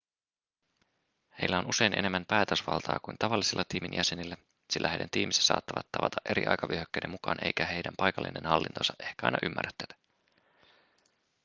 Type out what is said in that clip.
heillä on usein enemmän päätösvaltaa kuin tavallisilla tiimin jäsenillä sillä heidän tiiminsä saattavat tavata eri aikavyöhykkeiden mukaan eikä heidän paikallinen hallintonsa ehkä aina ymmärrä tätä